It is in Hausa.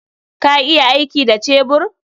Ka iya aiki da cebur?